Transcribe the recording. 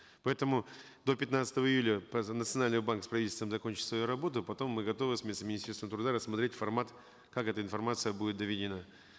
поэтому до пятнадцатого июля национальный банк с правительством закончит свою работу потом мы готовы с вице министерством труда рассмотреть формат как эта информация будет доведена